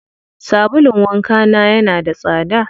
Sabulun wanka na yana da tsada.